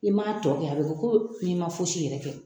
Ni m'a tɔ kɛ, a bi kɛ i ma foisi yɛrɛ kɛ.